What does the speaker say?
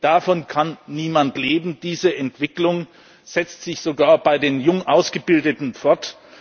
Davon kann niemand leben! Diese Entwicklung setzt sich sogar bei den jung Ausgebildeten